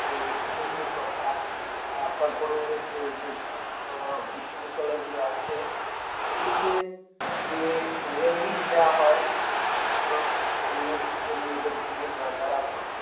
যে Eden এর কথা আহ তারপরে এই যে সমস্ত বিশ্ব বিদ্যালয় গুলি আছে সেগুলিতে যে Ragging দেওয়া হয় ছোট ছোট Junior ছেলে মেয়েদেরকে বা যারা